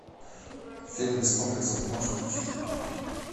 фильм без комплексов можешь включить